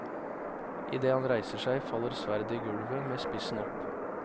I det han reiser seg, faller sverdet i gulvet, med spissen opp.